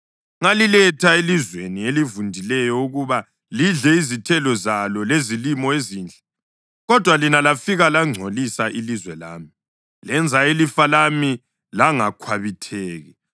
Ngaliletha elizweni elivundileyo ukuba lidle izithelo zalo lezilimo ezinhle. Kodwa lina lafika langcolisa ilizwe lami, lenza ilifa lami langakhwabitheki.